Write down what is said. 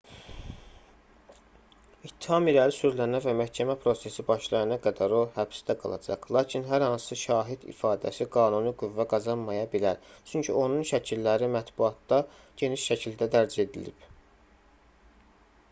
i̇ttiham irəli sürülənə və məhkəmə prosesi başlayana qədər o həbsdə qalacaq. lakin hər hansı şahid ifadəsi qanuni qüvvə qazanmaya bilər çünki onun şəkilləri mətbuatda geniş şəkildə dərc edilib